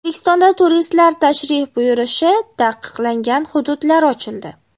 O‘zbekistonda turistlar tashrif buyurishi taqiqlangan hududlar ochildi .